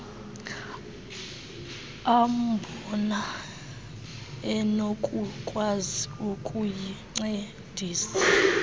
ambona enokukwazi ukuyincedisa